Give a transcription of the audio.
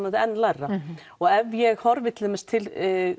þetta enn lægra ef ég horfi til